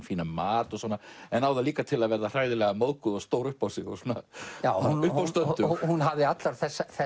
fínan mat en á það líka til að verða móðguð og stór upp á sig og uppástöndug hún hafði allar